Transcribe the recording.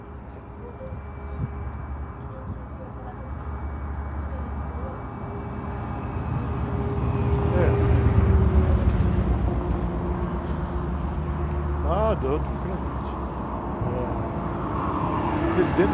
É que, o que, voltando um pouquinho, eu queria que o senhor falasse assim, quando o senhor entrou para, para o samba, né? .ue o senhor estava na escola técnica e conheceu o, eh, qual foi o cargo que o senhor entrou sabe? Como é que...h, tranquilamente. Eh, presidente